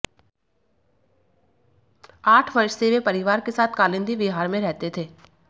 आठ वर्ष से वे परिवार के साथ कालिंदी विहार में रहते थे